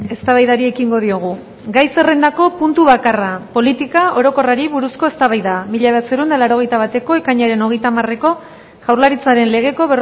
eztabaidari ekingo diogu gai zerrendako puntu bakarra politika orokorrari buruzko eztabaida mila bederatziehun eta laurogeita bateko ekainaren hogeita hamareko jaurlaritzaren legeko